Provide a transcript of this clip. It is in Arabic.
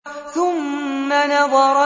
ثُمَّ نَظَرَ